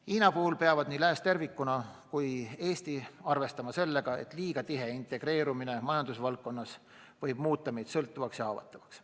Hiina puhul peavad nii lääs tervikuna kui Eesti arvestama sellega, et liiga tihe integreerumine majandusvaldkonnas võib muuta meid sõltuvaks ja haavatavaks.